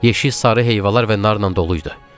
Yeşik sarı heyvalar və narla dolu idi.